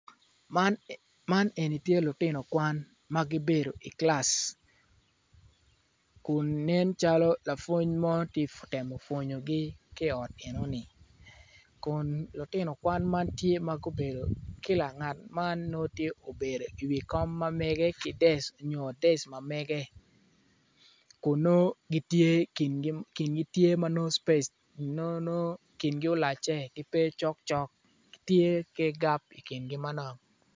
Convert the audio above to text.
Man eni tye lutino kwan ma gibedo i kilac kun nencalo lapwony mo tye ka temo pwonyogi ki i ot enoni kun lutino kwan man tye gubedo ki ngat tye obedo i wi desk mamege kun nongo kingi tye ma nongo spec nongo kingi olacce gitye ki gap i kingi manok.